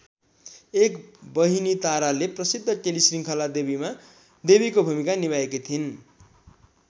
एक बहिनी ताराले प्रसिद्ध टेलिश्रृङ्खला देवीमा देवीको भूमिका निभाएकी थिइन्।